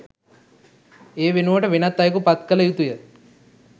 ඒ වෙනුවට වෙනත් අයෙකු පත් කළ යුතුය